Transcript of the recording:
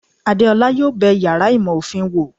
Adéọlá yóò bé iyàrá ìmọ ofín wò